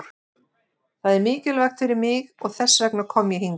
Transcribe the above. Það er mikilvægt fyrir mig og þess vegna kom ég hingað.